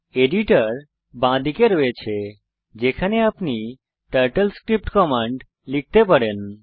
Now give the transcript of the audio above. editor বাঁদিকে আছে যেখানে আপনি টার্টেলস্ক্রিপ্ট কমান্ড লিখতে পারেন